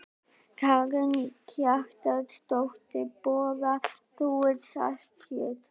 Karen Kjartansdóttir: Borðar þú saltkjöt?